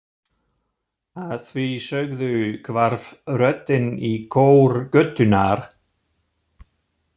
Að því sögðu hvarf röddin í kór götunnar.